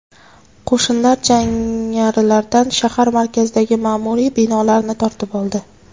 Qo‘shinlar jangarilardan shahar markazidagi ma’muriy binolarni tortib oldi.